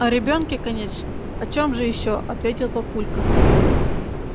о ребёнке конечно о чем же ещё ответил папулька